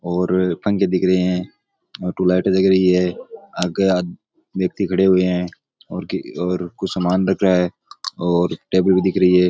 और पंखे दिख रहे ट्यूबलाइट जग रही है आगे आदमी व्यक्ति खड़े हुए है और कुछ सामान रख रहा है और टेबल भी दिख रही है।